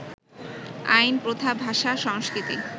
আইন, প্রথা, ভাষা, সংস্কৃতি